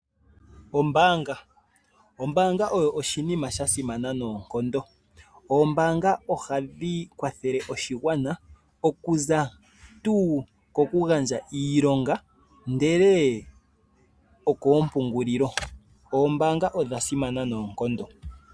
Ombaanga Ombaanga oyo oshinima sha simana noonkondo. Oombanga ohadhi kwathele oshigwana okuza tuu ko ku gandja iilonga ndele okoompungululi. Oombaanga odha simana noonkondo.